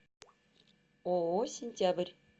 ооо сентябрь